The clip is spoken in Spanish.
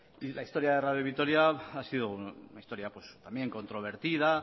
la historia de radio vitoria ha sido una historia pues también controvertida